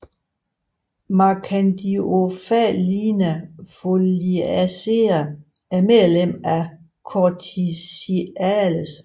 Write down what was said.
Marchandiomphalina foliacea er medlem af Corticiales